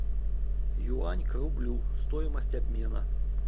юань к рублю стоимость обмена